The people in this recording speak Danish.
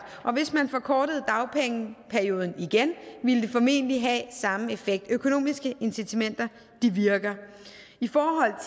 og hvis man forkortede dagpengeperioden igen ville det formentlig have samme effekt økonomiske incitamenter virker i forhold